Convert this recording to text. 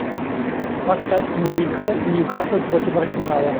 поставь мне игру ньюкасл против арсенала